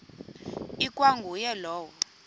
ikwa nguye lowo